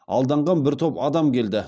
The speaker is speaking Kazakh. алданған бір топ адам келді